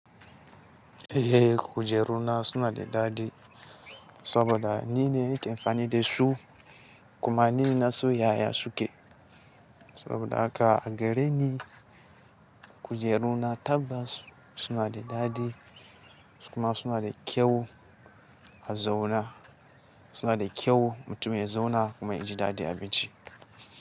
Eh kujeru na suna da dadi saboda nine nike amfani da su kuma ni na so yaya su ke. Saboda haka a gare ni kujeru na tabbas suna da dadi kuma suna da kyau a zauna, suna da kyau mutum ya zauna kuma ya ji dadi abinci.